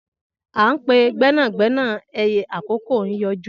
An pe gbena - gbena ẹyẹ akoko n yọju.